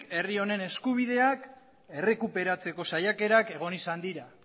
herri honen eskubideak errekuperatzeko saiakerak egon izan dira